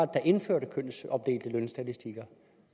der indførte kønsopdelte lønstatistikker